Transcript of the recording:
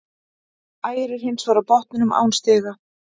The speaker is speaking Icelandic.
Ægir er hins vegar á botninum án stiga.